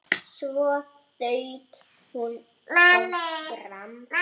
Svo þaut hún áfram.